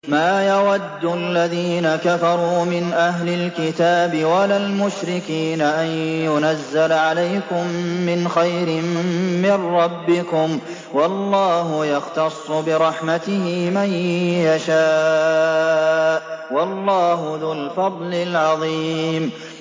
مَّا يَوَدُّ الَّذِينَ كَفَرُوا مِنْ أَهْلِ الْكِتَابِ وَلَا الْمُشْرِكِينَ أَن يُنَزَّلَ عَلَيْكُم مِّنْ خَيْرٍ مِّن رَّبِّكُمْ ۗ وَاللَّهُ يَخْتَصُّ بِرَحْمَتِهِ مَن يَشَاءُ ۚ وَاللَّهُ ذُو الْفَضْلِ الْعَظِيمِ